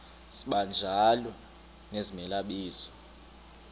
sibanjalo nezimela bizo